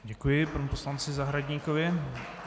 Děkuji panu poslanci Zahradníkovi.